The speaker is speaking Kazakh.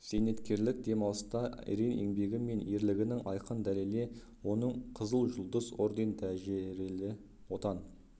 зейнеткерлік демалыста ерен еңбегі мен ерлігінің айқын дәлеле оның қызыл жұлдыз орден дәрежелі отан